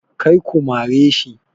Kar ku mare shi!